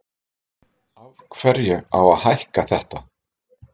Af hverju á að hækka þetta?